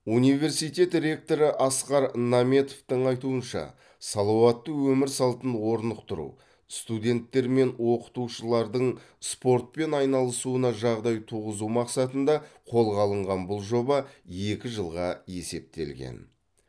университет ректоры асқар наметовтің айтуынша салауатты өмір салтын орнықтыру студенттер мен оқытушылардың спортпен айналысуына жағдай туғызу мақсатында қолға алынған бұл жоба екі жылға есептелген